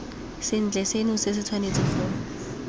sentle seno se tshwanetse sa